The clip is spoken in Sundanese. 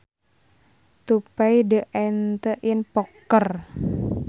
To pay the ante in poker